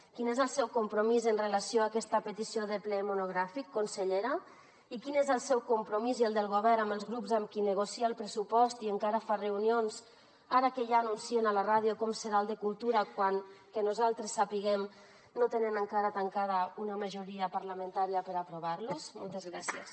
quin és el seu compromís amb relació a aquesta petició de ple monogràfic consellera i quin és el seu compromís i el del govern amb els grups amb qui negocia el pressupost i encara fa reunions ara que ja anuncien a la ràdio com serà el de cultura quan que nosaltres sapiguem no tenen encara tancada una majoria parlamentària per aprovar los moltes gràcies